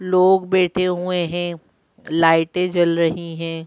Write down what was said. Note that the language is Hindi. लोग बैठे हुए हैं लाइटें जल रही हैं।